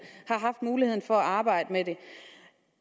har haft muligheden for at arbejde med det